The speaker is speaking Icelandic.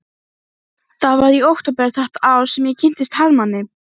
Komdu sæll, ég heiti Jóra Gamladóttir